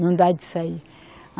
Não dá de sair.